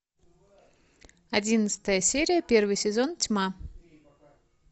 одиннадцатая серия первый сезон тьма